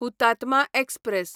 Hutatma express